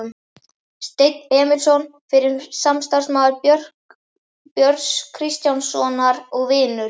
Steinn Emilsson, fyrrum samstarfsmaður Björns Kristjánssonar og vinur